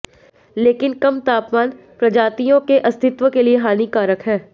लेकिन कम तापमान प्रजातियों के अस्तित्व के लिए हानिकारक है